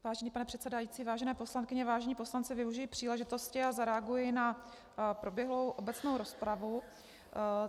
Vážený pane předsedající, vážené poslankyně, vážení poslanci, využiji příležitosti a zareaguji na proběhlou obecnou rozpravu.